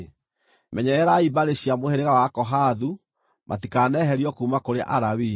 “Menyererai mbarĩ cia mũhĩrĩga wa Akohathu matikaneherio kuuma kũrĩ Alawii.